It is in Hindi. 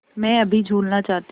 मैं अभी झूलना चाहती हूँ